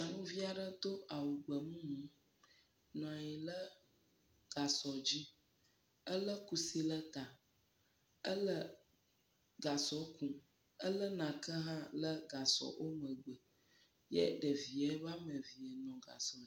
Nyɔnuvi aɖe do awu gbemumu, nɔ anyi le gasɔ dzi, elé kusi le ta, ele gasɔ ku, elé nake hã le gasɔ wo megbe ye ɖevi woame ve le gasɔ..dz..